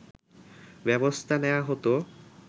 ব্যবস্থা নেয়া হতো